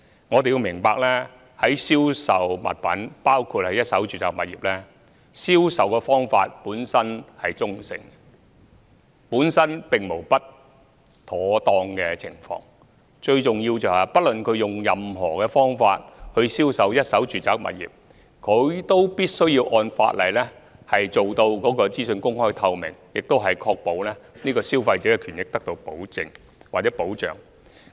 我們要明白銷售物品——包括一手住宅物業——本來的銷售方法是中性的，本身並無不妥當，最重要是無論用任何方法銷售一手住宅物業，發展商均須按法例做到資訊公開透明，並確保消費者的權益得到保證或保障。